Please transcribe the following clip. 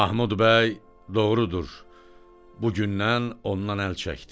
Mahmud bəy, doğrudur, bu gündən ondan əl çəkdi.